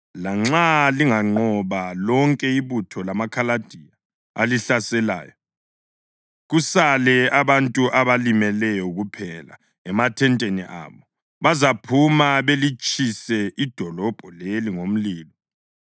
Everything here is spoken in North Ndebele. Lanxa linganqoba lonke ibutho lamaKhaladiya alihlaselayo, kusale abantu abalimeleyo kuphela emathenteni abo, bazaphuma balitshise idolobho leli ngomlilo.”